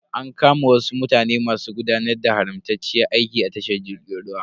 An kama wasu mutane masu gudanar da haramtacciyar aiki a tashar jirgin ruwan.